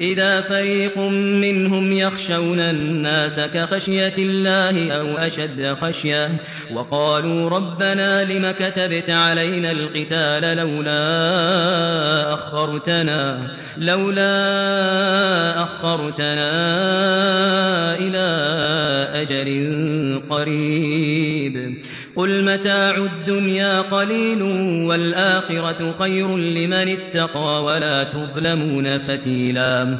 إِذَا فَرِيقٌ مِّنْهُمْ يَخْشَوْنَ النَّاسَ كَخَشْيَةِ اللَّهِ أَوْ أَشَدَّ خَشْيَةً ۚ وَقَالُوا رَبَّنَا لِمَ كَتَبْتَ عَلَيْنَا الْقِتَالَ لَوْلَا أَخَّرْتَنَا إِلَىٰ أَجَلٍ قَرِيبٍ ۗ قُلْ مَتَاعُ الدُّنْيَا قَلِيلٌ وَالْآخِرَةُ خَيْرٌ لِّمَنِ اتَّقَىٰ وَلَا تُظْلَمُونَ فَتِيلًا